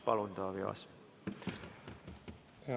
Palun, Taavi Aas!